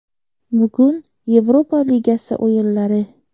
Bugun Yevropa ligasi o‘yinlari.